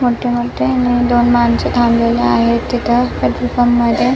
मोठे मोठे दोन माणसे थांबलेले आहेत तिथ पॅट्रोल पंप मध्ये.